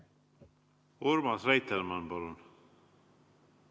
Urmas Reitelmann, palun!